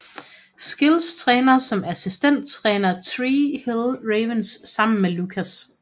Skills træner som assistenttræner Tree Hill Ravens sammen med Lucas